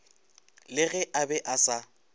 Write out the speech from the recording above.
le ge a be asa